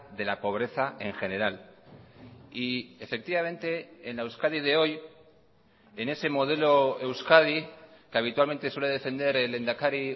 de la pobreza en general y efectivamente en la euskadi de hoy en ese modelo euskadi que habitualmente suele defender el lehendakari